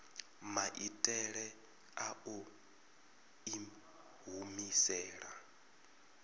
maitele a u i humisela